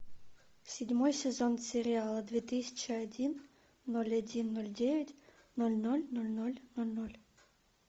седьмой сезон сериала две тысячи один ноль один ноль девять ноль ноль ноль ноль ноль ноль